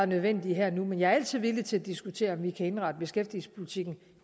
nødvendige her og nu men jeg er altid villig til at diskutere om vi kan indrette beskæftigelsespolitikken